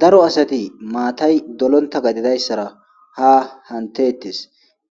daro asati maatay dolonta gadime dayssara ha hantettes